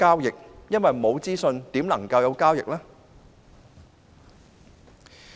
如果沒有資訊，又如何能進行交易？